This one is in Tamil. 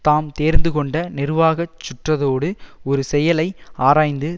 தாம் தேர்ந்து கொண்ட நிருவாகச் சுற்றத்தோடு ஒரு செயலை ஆராய்ந்து